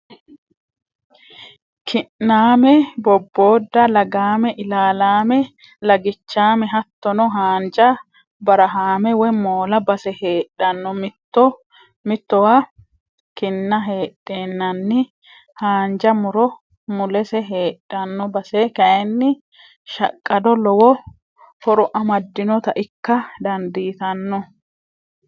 Ki'name boboda lagame ilalame lagichame hattono haanja barahame woyi moola base heedhano mitto mittowa kina heedhenanni haanja muro mulese heedhano base kayinni shaqqado lowo horo amadinotta ikka dandiittano.